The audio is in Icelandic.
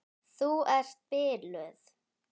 Þú ert biluð!